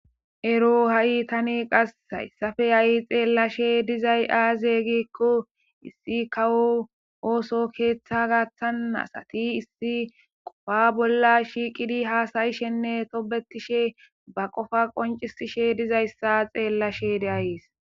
Ero ha'i tani qasshayssafe ayi xeellashe dizay aaze gikko issi kawo ooso keeththa gaththanasati issi qofa bolla shiiqidi haasayishenne tobetishe ba qofa qoncisishe dizayssa xeellashe deayees.